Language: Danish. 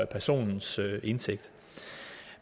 personens indtægt